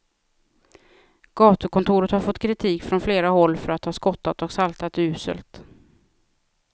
Gatukontoret har fått kritik från flera håll för att ha skottat och saltat uselt.